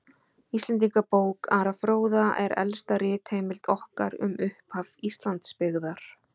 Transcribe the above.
Íslendingabók Ara fróða er elsta ritheimild okkar um upphaf Íslandsbyggðar.